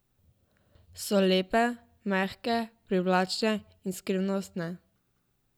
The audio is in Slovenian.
So lepe, mehke, privlačne in skrivnostne.